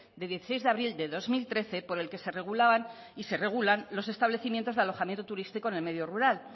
de dieciséis de abril de dos mil trece por el que se regulan los establecimientos de alojamiento turístico en el medio rural